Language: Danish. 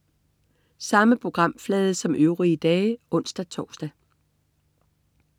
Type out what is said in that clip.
Samme programflade som øvrige dage (ons-tors)